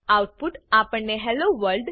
out put આપણને hello world